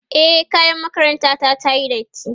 e kayan makaranta ta tayi datti